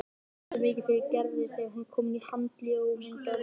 Ekki fer heldur mikið fyrir Gerði þegar hún er komin í Handíða- og myndlistaskólann.